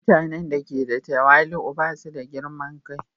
Mutane da ke da tawali'u ba su da girman kai.